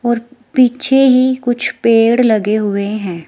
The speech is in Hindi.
और पीछे ही कुछ पेड़ लगे हुए हैं।